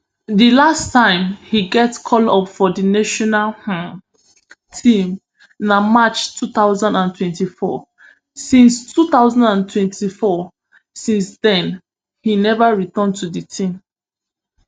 di last time im get call up for di national um team na march two thousand and twenty-four since two thousand and twenty-four since den im neva return to di team